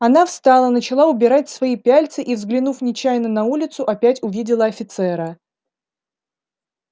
она встала начала убирать свои пяльцы и взглянув нечаянно на улицу опять увидела офицера